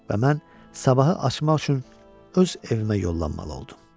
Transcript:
Və mən sabahı açmaq üçün öz evimə yollanmalı oldum.